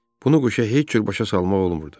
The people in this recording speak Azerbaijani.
Bunu quşa heç cür başa salmaq olmurdu.